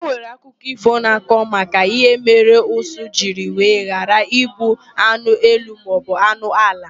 Enwere akụkọ ífò na-akọ maka ihe mere ụsụ jiri wee ghara ịbụ anụ elu maọbụ anụ ala.